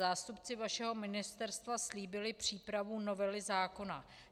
Zástupci vašeho ministerstva slíbili přípravu novely zákona.